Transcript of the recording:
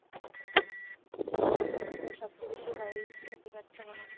সবচেয়ে বেশি